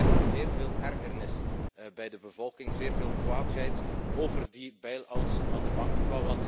En dat creëert zeer veel ergernis bij de bevolking, zeer veel kwaadheid over die bail outs van de banken.